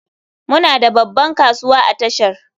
Muna da babban kasuwa a tashar mai.